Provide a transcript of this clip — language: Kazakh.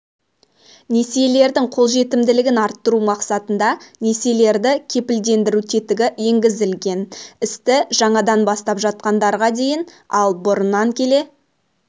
несиелердің қолжетімділігін арттыру мақсатында несиелерді кепілдендіру тетігі енгізілген істі жаңадан бастап жатқандарға дейін ал бұрыннан келе